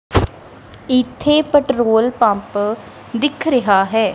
ਇੱਥੇ petrol pump ਦਿੱਖ ਰਿਹਾ ਹੈ।